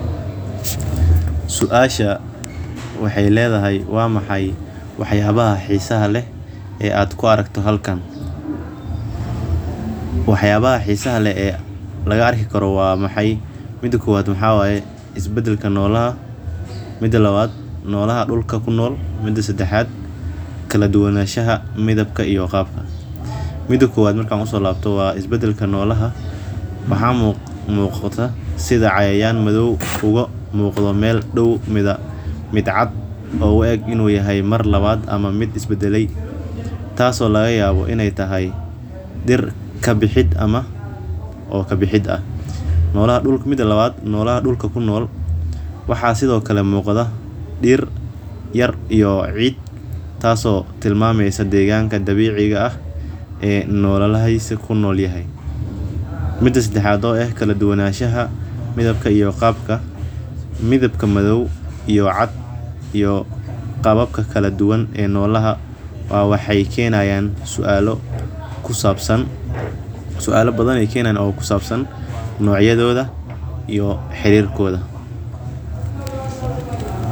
Suasha waxeey ledahay waa maxay wax yaabaha xiisaha leh oo aad ku aragto meeshan mida kowad is badalka nolaha mida labaad dulka uu kunool yahay mida cad iyo mid kabaad oo u eg inuu is badale oo laga yaabo inaay tahay kabixid waxa sido kale muqada dir yar ama ciid kala dubnashada qabka iyo mudabka waxeey kenayan suala kusabsan nocyadaoo iyo xireikooda.